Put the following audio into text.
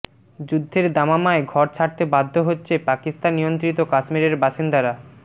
যুদ্ধের দামামায় ঘর ছাড়তে বাধ্য হচ্ছে পাকিস্তান নিয়ন্ত্রিত কাশ্মিরের বাসিন্দারা